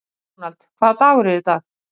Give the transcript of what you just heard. Ronald, hvaða dagur er í dag?